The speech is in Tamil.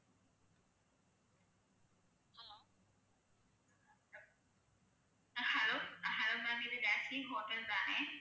அஹ் hello அஹ் hello ma'am இது ஜாஸ்மீன் hotel தானே?